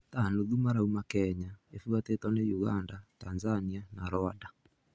Ta nuthu marauma Kenya, ĩbuatĩtwo nĩ Ũganda, Tanzania na Rũanda.